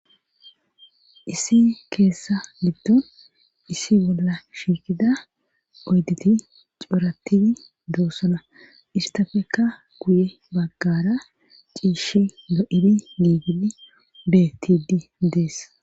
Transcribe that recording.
Issi keeththa giddon isi bolla shiikida oyditi cooratidi doossana istapeka guye baggara ciishi lo7id niigidi bettidi dees.